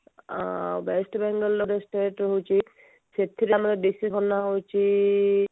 ଆ state ହଉଛି ସେଥିରୁ ଆମର ବେଶୀ ଭଲ ହଉଛି